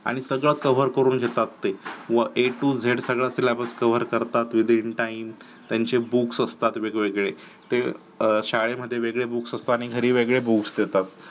आणि सगळं cover करून घेतात ते व ए तो झेड सगळं तिला cover करतात within time त्यांचे books असतात वेगवेगळे ते शाळेमध्ये वेगळे books असतात आणि घरी वेगळे books देतात